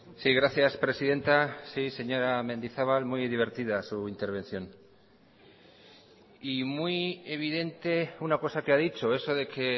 sí gracias presidenta sí señora mendizabal muy divertida su intervención y muy evidente una cosa que ha dicho eso de que